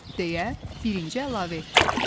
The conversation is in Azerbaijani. Deyə birinci əlavə etdi.